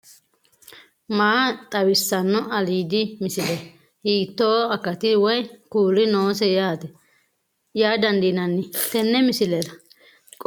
maa xawissanno aliidi misile ? hiitto akati woy kuuli noose yaa dandiinanni tenne misilera? qooxeessisera noori maati ? kuni baycgu maa kulannoho